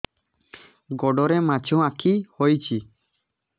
ଗୋଡ଼ରେ ମାଛଆଖି ହୋଇଛି